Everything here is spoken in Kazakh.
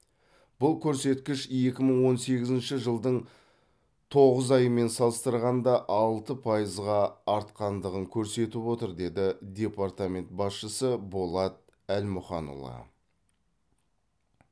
бұл көрсеткіш екі мың он сегізінші жылдың тоғыз айымен салыстырғанда алты пайызға артқандығын көрсетіп отыр деді департамент басшысы болат әлмұханұлы